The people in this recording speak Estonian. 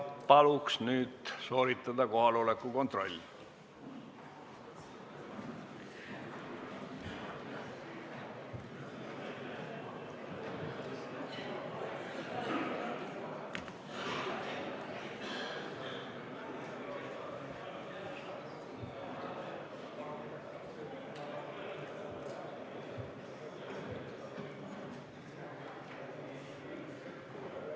Palun nüüd sooritada kohaloleku kontroll!